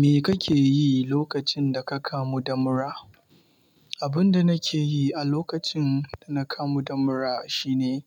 Me kake yi lokacin da ka kamu da mura? Abin da nake yi a lokacin da na kamu da mura, shine